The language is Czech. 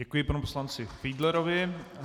Děkuji panu poslanci Fiedlerovi.